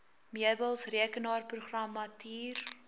meubels rekenaarprogrammatuur